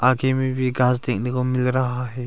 आगे में भी घास देखने को मिल रहा है।